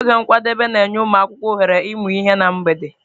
Oge nkwadebe na-enye ụmụ akwụkwọ ohere ịmụ ihe na mgbede.